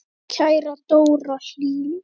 Okkar kæra Dóra Hlín.